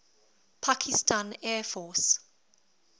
pakistan air force